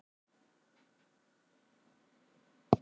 Kolfinna, lækkaðu í græjunum.